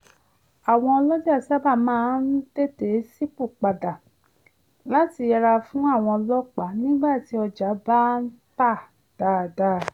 àwọn ọlọjà sábà máa ń tètè ṣipòpada láti yẹra fún àwọn ọlọ́pàá nígbà tí ọjà bá ń tà dáadáa